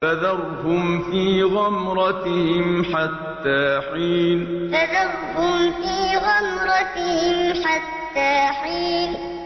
فَذَرْهُمْ فِي غَمْرَتِهِمْ حَتَّىٰ حِينٍ فَذَرْهُمْ فِي غَمْرَتِهِمْ حَتَّىٰ حِينٍ